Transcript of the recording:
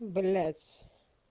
блядь